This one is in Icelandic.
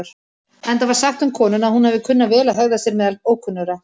Enda var sagt um konuna að hún hafi kunnað vel að hegða sér meðal ókunnugra.